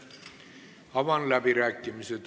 Avan läbirääkimised.